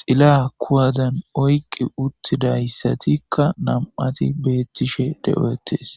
xila kuwadan oyqi uttidayssatikka nam'ati beettishe de'oettes.